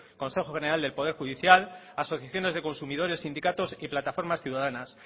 consejo general del poder judicial asociaciones de consumidores sindicatos y plataformas ciudadanas